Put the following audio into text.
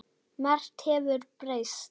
Margt hefur breyst.